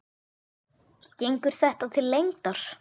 Gengur þetta til lengdar?